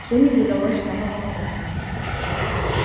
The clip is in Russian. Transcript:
всё не задалось с самого утра